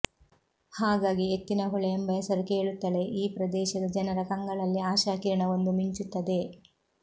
ಹಾಗಾಗಿ ಎತ್ತಿನಹೊಳೆ ಎಂಬ ಹೆಸರು ಕೇಳುತ್ತಲೇ ಈ ಪ್ರದೇಶದ ಜನರ ಕಂಗಳಲ್ಲಿ ಆಶಾಕಿರಣವೊಂದು ಮಿಂಚುತ್ತದೆ